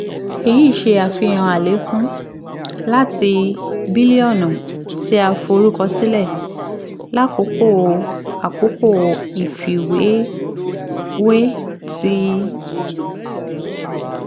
eyi ṣe afihan alekun twenty five point eight three percent lati n two hundred seventy eight point zero seven seven bilionu ti a forukọsilẹ lakoko akoko ifiwewe ti